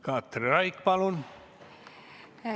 Katri Raik, palun!